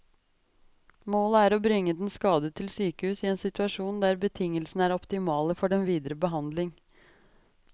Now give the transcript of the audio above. Målet er å bringe den skadede til sykehus i en situasjon der betingelsene er optimale for den videre behandling.